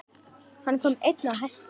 Hann kom einn á hesti.